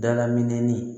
Dala minni